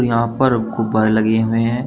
यहां पर गुब्बारे लगे हुए हैं।